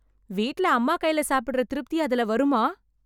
வீட்ல அம்மா கைல சாப்பிடற திருப்தி அதுல வருமா?